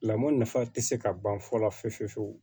Lamɔ nafa tɛ se ka ban fɔ la fiyewu fiyewu